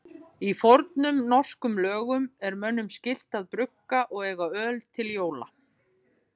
Í fornum norskum lögum er mönnum skylt að brugga og eiga öl til jóla.